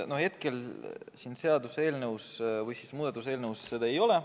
Hetkel siin seaduseelnõus seda ei ole.